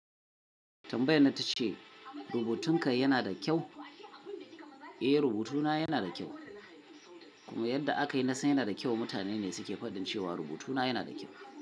Tambayar nan ta ce, rubutunka yana da kyau? Eh, rubutuna yana da kyau. Kuma yadda aka yi nasan yana da kyau, mutane ne suke gwadan cewa rubutuna yana da kyau.